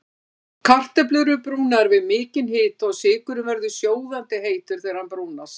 Kartöflur eru brúnaðar við mikinn hita og sykurinn verður sjóðandi heitur þegar hann brúnast.